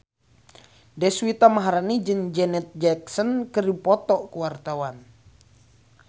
Deswita Maharani jeung Janet Jackson keur dipoto ku wartawan